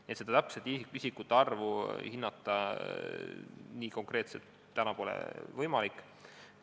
Nii et täpset isikute arvu hinnata ei ole nii konkreetselt täna võimalik.